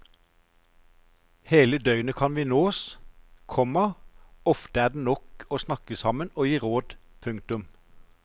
Hele døgnet kan vi nås, komma ofte er det nok å snakke sammen og gi råd. punktum